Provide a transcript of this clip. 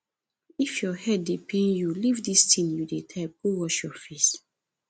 if your head dey pain you leave dis thing you dey type go wash your face